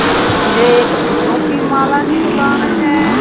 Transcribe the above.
जे एक फूलों की माला की दुकान है।